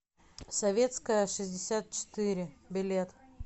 советская шестьдесят четыре билет